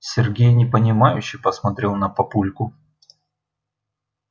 сергей непонимающе посмотрел на папульку